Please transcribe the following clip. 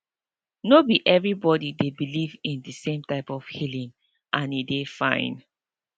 no be everybody dey believe in de same type of healing and e dey fine